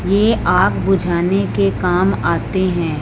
ये आग बुझाने के काम आते है।